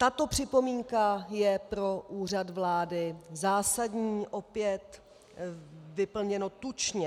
Tato připomínka je pro Úřad vlády zásadní, opět vyplněno tučně.